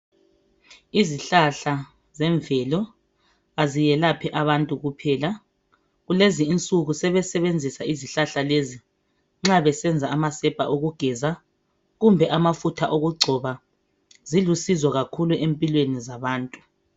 Izihlahla zemvelo aziyelaphi abantu kuphela kulezi insuku sebesebenzisa izihlahla lezi nxa besenza amasepa okugeza kumbe amafutha okungcoba zilusizo kakhulu empilweni zabantu